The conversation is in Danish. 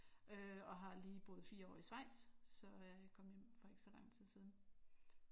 Øh og har lige boet 4 år i Schweiz så jeg kom hjem for ikke så lang tid siden